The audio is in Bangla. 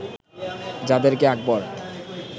যাদের কে আকবর